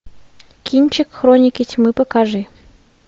кинчик хроники тьмы покажи